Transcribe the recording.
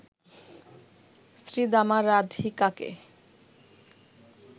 Sridama রাধিকাকে